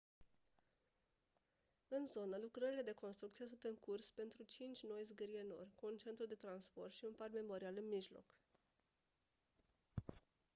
în zonă lucrările de construcție sunt în curs pentru cinci noi zgârie-nori cu un centru de transporturi și un parc memorial în mijloc